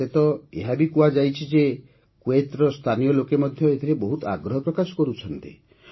ମତେ ତ ଏହା ବି କୁହାଯାଇଛି ଯେ କୁଏତ୍ର ସ୍ଥାନୀୟ ଲୋକେ ମଧ୍ୟ ଏଥିରେ ବହୁତ ଆଗ୍ରହ ପ୍ରକାଶ କରୁଛନ୍ତି